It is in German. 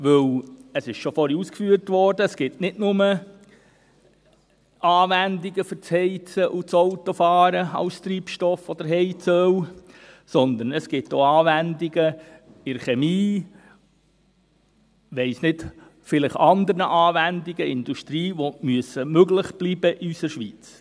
Denn – es wurde vorhin bereits ausgeführt – es gibt für Treibstoff oder Heizöl nicht nur Anwendungen fürs Heizen oder Autofahren, sondern auch in der Chemie oder vielleicht auch in der Industrie, die in unserer Schweiz möglich bleiben müssen.